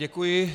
Děkuji.